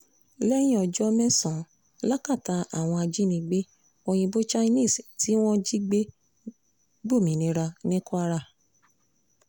lẹ́yìn ọjọ́ mẹ́sàn-án lákàtà àwọn ajánigbé òyìnbó chinese tí wọ́n jí gbé gbòmìnira ní kwara